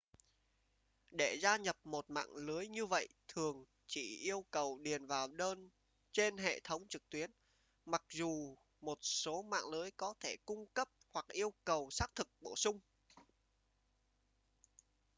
để gia nhập một mạng lưới như vậy thường chỉ yêu cầu điền vào đơn trên hệ thống trực tuyến mặc dù một số mạng lưới có thể cung cấp hoặc yêu cầu xác thực bổ sung